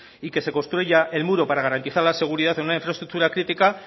y que se construya el muro para garantizar la seguridad en una infraestructura crítica